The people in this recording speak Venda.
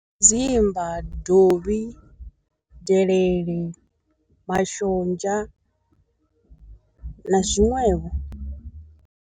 Dzimba, dovhi, delele, mashonzha na zwiṅwevho.